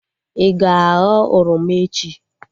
Ị ga-aghọ oroma echi?